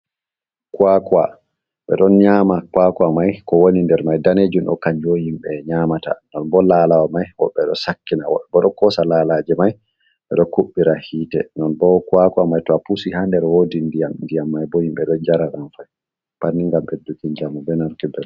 Kwakwa: Ɓe ɗon nyama kwakwa mai ko woni nder mai danejum ɗo kanjum himɓe nyamata. Nonbo lalawa mai woɓɓe ɗo sakkina, woɓɓe bo ɗo kosa lalaje mai ɓeɗo kuɓɓira hite. Nonbo kwakwa mai to apusi ha nder wodi ndiyam. Ndiyam mai bo himɓe ɗo njara ɗam pat ni ngam ɓedduki njamu be...